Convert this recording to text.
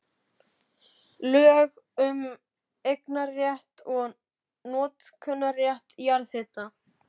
Lög um eignar- og notkunarrétt jarðhita.